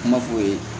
Kuma f'o ye